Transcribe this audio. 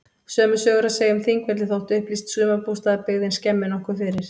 Sömu sögu er að segja um Þingvelli þótt upplýst sumarbústaðabyggðin skemmi nokkuð fyrir.